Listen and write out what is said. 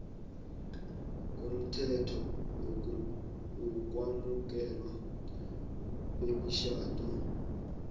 umthetho wokwamukelwa kwemitjhado